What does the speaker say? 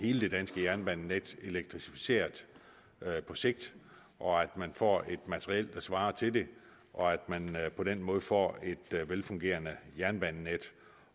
hele det danske jernbanenet elektrificeret på sigt og at man får et materiel der svarer til det og at man på den måde får et velfungerende jernbanenet